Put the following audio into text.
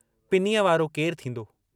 पिनीअ वारो केरु थींदो।